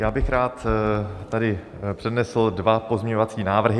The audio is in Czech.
Já bych rád tady přednesl dva pozměňovací návrhy.